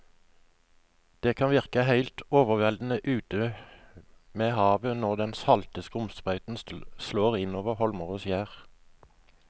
Det kan virke helt overveldende ute ved havet når den salte skumsprøyten slår innover holmer og skjær.